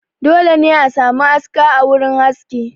Dole ne a sami aska a wurin haski